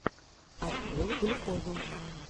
открой глюкозу